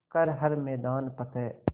कर हर मैदान फ़तेह